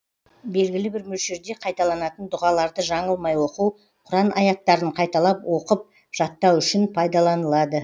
белгілі бір мөлшерде қайталанатын дұғаларды жаңылмай оқу құран аяттарын қайталап оқып жаттау үшін пайдаланылады